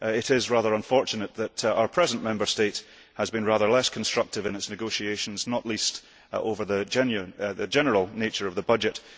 It is rather unfortunate that our present Member State has been rather less constructive in its negotiations, not least over the general nature of the budget.